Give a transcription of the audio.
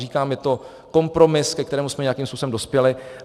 Říkám, je to kompromis, ke kterému jsme nějakým způsobem dospěli.